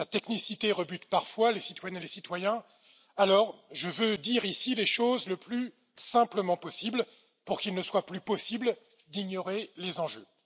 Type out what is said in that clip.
Sa technicité rebute parfois les citoyennes et les citoyens, alors je veux dire ici les choses le plus simplement possible, pour qu'il ne soit plus possible d'ignorer les enjeux.